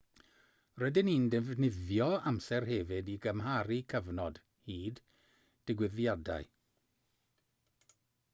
rydyn ni'n defnyddio amser hefyd i gymharu cyfnod hyd digwyddiadau